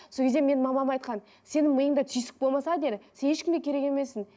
сол кезде менің мамам айтқан сенің миыңда түйсік болмаса деді сен ешкімге керек емессің